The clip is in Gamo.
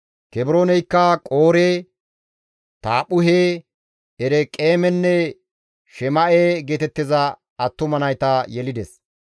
Kebrooneykka Qoore, Taaphphuhe, Ereqeemenne Shema7e geetettiza attuma nayta yelides.